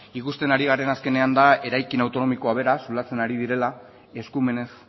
ikusten ari garena azkenean da eraikin autonomikoa bera zulatzen ari direla eskumenez